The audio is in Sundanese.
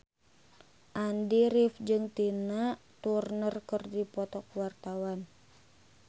Andy rif jeung Tina Turner keur dipoto ku wartawan